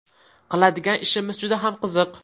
Qiladigan ishimiz juda ham qiziq.